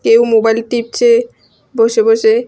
কেউ মোবাইল টিপছে বসে বসে।